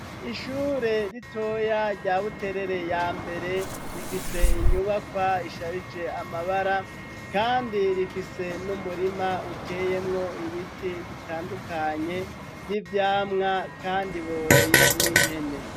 Ishure ritoya ryabuterere ya mbere rifise inyubakwa isharije amabara, kandi rifise n'umurima uteyemwo ibiti bitandukanye vy'ivyamwa, kandi boroye n'impene.